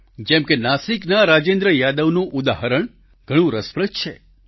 જેમ કે નાસિકના રાજેન્દ્ર યાદવનું ઉદાહરણ ઘણું રસપ્રદ છે